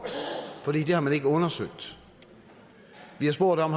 for det har man ikke undersøgt vi har spurgt om